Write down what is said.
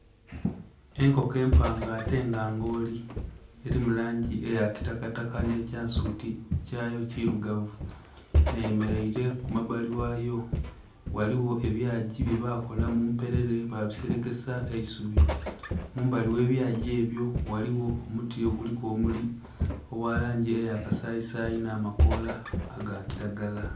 Enkoko empanga atte nga ngooli. Elimu langi eya kitakataka nh'ekyensuti kyayo kilugavu. Eyemeleile ku mabbali ghayo, ghaligho ebyagi byebakola mu mpelele babiselekesa eisubi. Mumbali ghe byagi ebyo ghaligho omuti oguliku obumuli obwa langi eya kasayisayi, nh'amakoola aga kilagala.